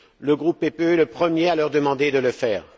Le groupe PPE est le premier à leur demander de le faire.